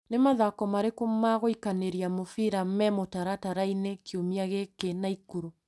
Nĩ mathako marĩkũ ma gwĩikanĩria mubira me mũtaratara-inĩ kiumia gĩkĩ Naĩkurũ ?